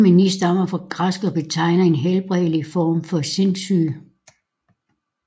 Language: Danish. Ordet mani stammer fra græsk og betegner en helbredelig form for sindssyge